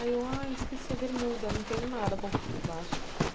Aí eu, ai, esqueci a bermuda, não tenho nada por por baixo.